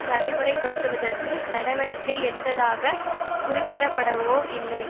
நடைமுறை படுத்துவதற்கு நடவடிக்கை எடுத்ததாக குறிப்பிடப்படவோ இல்லை